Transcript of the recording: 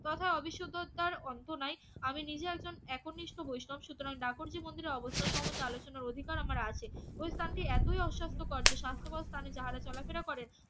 তথা অবিশুদ্ধতার অন্ত নাই আমি নিজে একজন একনিষ্ঠ বৈষ্ণব সুতরাং দাপরজের মন্দিরের অবস্থা সম্পর্কে আলোচনার অধিকার আমার আছে ওই স্থানটি এতই অস্বাস্থ্যকর যে স্বাস্থ্যকর স্থানে যাহারা চলা ফেরা করেন